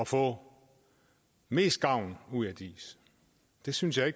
få mest gavn ud af diis jeg synes at